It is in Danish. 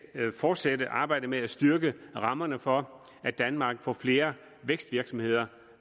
fortsætte arbejdet med at styrke rammerne for at danmark får flere vækstvirksomheder